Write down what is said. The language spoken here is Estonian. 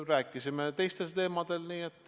Rääkisime ka teistel teemadel.